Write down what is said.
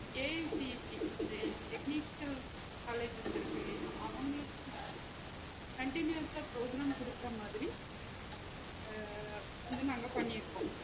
A C T இந்த technical colleges இருக்கில்லையா அவங்களுக்கும் வந்த continuous ஆ program குடுக்குற மாதிரி அஹ் வந்து நாங்க பண்ணிருக்கோம்